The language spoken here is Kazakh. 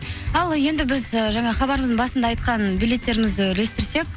ал енді біз ііі жаңағы хабарымыздың басында айтқан билеттерімізді үлестірсек